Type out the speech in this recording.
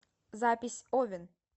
запись овен